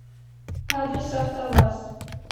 адрес автоваз